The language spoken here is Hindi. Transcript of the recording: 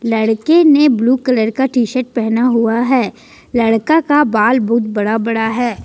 लड़की ने ब्लू कलर का टीशर्ट पहना हुआ है लड़का का बाल बहुत बड़ा बड़ा है।